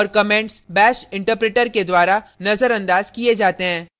और comments bash interpreter के द्वारा नजरअंदाज किये जाते हैं